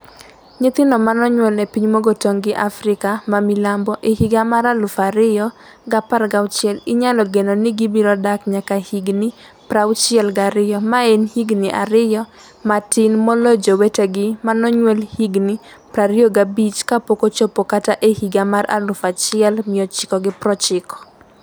Nyithindo ma nonyuol e piny mogo tong' gi Afrika ma milambo e higa mar 2016 inyalo geno ni gibiro dak nyaka higni 62 - ma en higni ariyo matin moloyo jowetegi ma nonyuol higni 25 kapok ochopo kata e higa mar 1990.